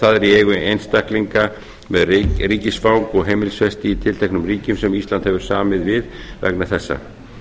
það er í eigu einstaklinga með ríkisfang og heimilisfesti í tilteknum ríkjum sem ísland hefur samið við vegna þessa